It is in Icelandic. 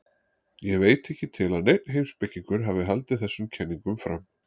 Ég veit ekki til að neinn heimspekingur hafi haldið þessum kenningum fram.